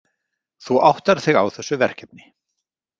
Þú áttar þig á þessu verkefni.